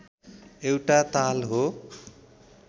एउटा ताल हो